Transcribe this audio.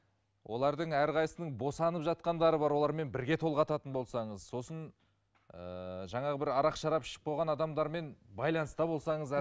олардың әрқайсысының босанып жатқандары бар олармен бірге толғататын болсаңыз сосын ыыы жаңағы бір арақ шарап ішіп қойған адамдармен байланыста болсаңыз